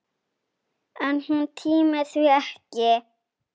En hún tímir því ekki!